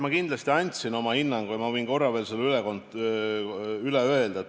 Ma kindlasti andsin oma hinnangu ja võin korra selle veel üle öelda.